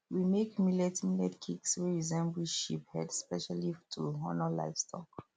we make millet millet cakes wey resemble sheep head specially to honour livestock